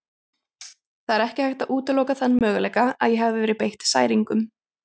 Það er ekki hægt að útiloka þann möguleika að ég hafi verið beitt særingum.